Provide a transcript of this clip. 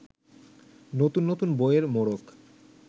নতুন নতুন বইয়ের মোড়ক